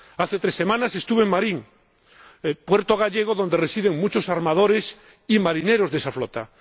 Hace tres semanas estuve en Marín, puerto gallego donde residen muchos armadores y marineros de esa flota.